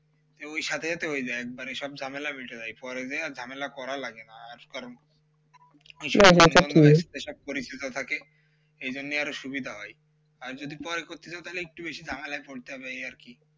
ওই সাধেই তো ওই যায় ওইসব ঝামেলা মিটে নাই পরে দিয়ে আর ঝামেলা করা লাগে না আর কারণ পরিচিত থাকে এই জন্যই আরও সুবিধা হয় আর যদি পরে করতে চাও তাহলে একটু বেশি নাগালে পরতে হবে ওই আর কি